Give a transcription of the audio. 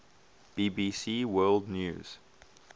bbc world news